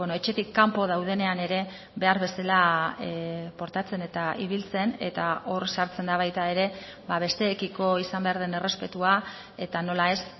etxetik kanpo daudenean ere behar bezala portatzen eta ibiltzen eta hor sartzen da baita ere besteekiko izan behar den errespetua eta nola ez